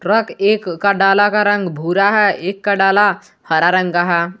एक का डाला का रंग भूरा है एक का डाला हरा रंग का है।